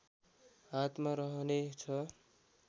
हातमा रहने छ